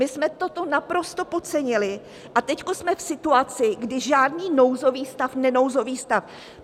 My jsme toto naprosto podcenili a teď jsme v situaci, kdy žádný nouzový stav - nenouzový stav.